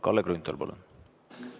Kalle Grünthal, palun!